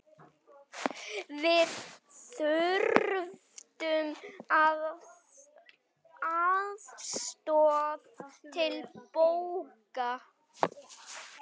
Við þurftum aðstoð til baka.